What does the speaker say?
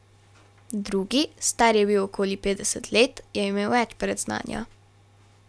Drugi, star je bil okoli petdeset let, je imel več predznanja.